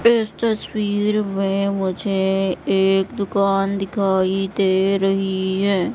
इस तसवीर में मुझे एक दुकान दिखाई दे रही हैं।